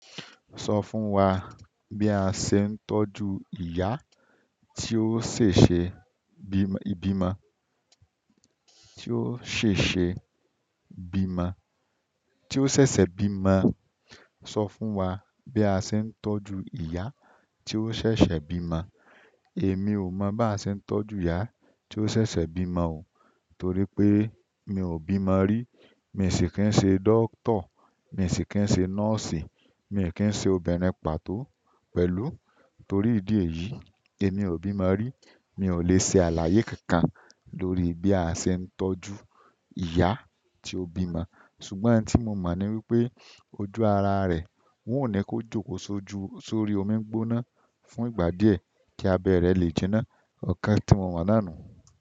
Sọ fún wa bí a ṣe ń tọ́jú ìyá tí ó ṣèṣe bímọ, tí ó ṣèṣe bímọ, tí ó ṣẹ̀ṣẹ̀ bímọ. Sọ fún wa bí a ṣe ń tọ́jú ìyá tí ó ṣẹ̀ṣẹ̀ bímọ. Èmi ò mọ̀ bí a ṣe ń tọ́jú ìyá tí ó ṣẹ̀ṣẹ̀ bímọ o. Torí pé mi ò bímọ rí, mi sì kí ń ṣe dókítà, mi sì kí ń ṣe nọ́ọ̀sì, mi ò kí ń ṣe obìnrin pàtó pẹ̀lú. Torí ìdí èyí, èmi ò bímọ rí. Mi ò lè ṣe àlàyé kankan lórí bí a ṣe ń tọ́jú ìyá tí ó bímọ. Ṣùgbọ́n nti mo mọ̀ ni wípé ojú ara rẹ̀, wọn ò ní kó jókò sojú sórí omi gbóná fún ìgbà díẹ̀ kí abẹ́ rẹ̀ lè jinná. Ọ̀kan tí mo mọ̀ nàá nun.